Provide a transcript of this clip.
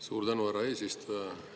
Suur tänu, härra eesistuja!